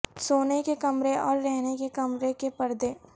سونے کے کمرے اور رہنے کے کمرے کے پردے